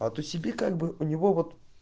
а то себе как бы у него вот